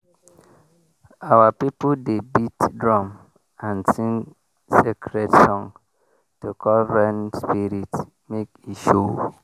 our people dey beat drum and sing sacred song to call rain spirit make e show.